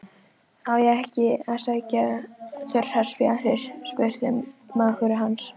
Á ég ekki að sækja þurrar spjarir? spurði mágur hans.